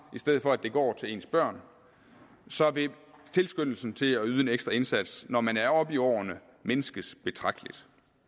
i stedet for at den går til ens børn så vil tilskyndelsen til at yde en ekstra indsats når man er oppe i årene mindskes betragteligt